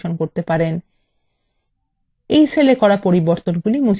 এই cell এ করা পরিবর্তন মুছে ফেলুন